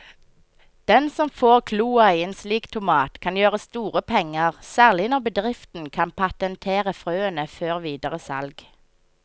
Den som får kloa i en slik tomat kan gjøre store penger, særlig når bedriften kan patentere frøene før videre salg.